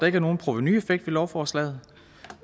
ikke er nogen provenueffekt ved lovforslaget